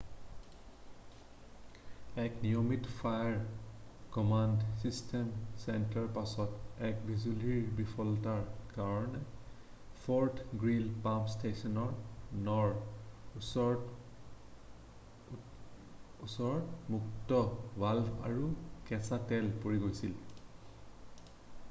এক নিয়মিত fire command system টেষ্টৰ পাছত এক বিজুলীৰ বিফলতাৰ কাৰণে ফৰ্ট গ্ৰীলি পাম্প ষ্টেছন 9 ৰ ওচৰত মুক্ত ভাল্ভ আৰু কেঁচা তেল পৰি গৈছিল৷